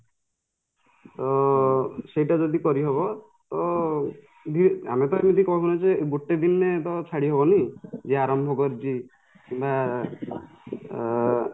ଅ ସେଇଟା ଯଦି କରିହବ ତ ଆମେତ ଏମିତି କହୁନେ ଯେ ଗୋଟେ ଦିନେ ତ ଛାଡି ହବନି ଯେ ଆରମ୍ଭ କରିଛି ନା ଆଁ